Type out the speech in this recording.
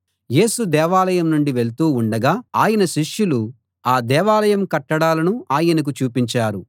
యేసు దేవాలయం నుండి వెళ్తూ ఉండగా ఆయన శిష్యులు ఆ దేవాలయం కట్టడాలను ఆయనకు చూపించారు